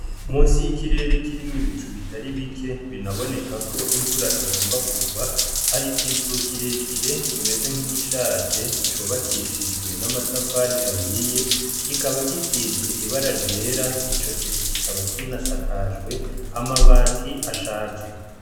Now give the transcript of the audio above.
Munsi y'ikirere kirimwo ibicu bitari bike binaboneka ko imvura igomba kurwa, hari ikizu kire kire kimeze nk'igishaje, cubakishijwe n'amatafari ahiye, kikaba gisize ibara ry'era, ico kizu kikaba kinasakajwe amabati ashaje.